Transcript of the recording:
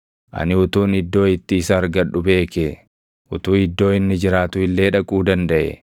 Ani utuun iddoo itti isa argadhu beekee, utuu iddoo inni jiraatu illee dhaquu dandaʼee!